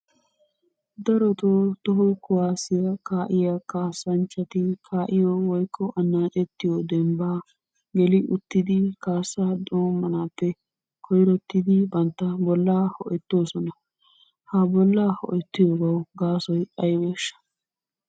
Darotto toho kuwaasiyaa kaa'iyaa kasanchchatti kaa'iyoo woyikko anacettiyoo dembba geliuttid kaassa doomanaappe koyirottid bantta bolla ho'ettossona. Ha bollaa ho'ettiyoogawu gaassoy aybeshsha?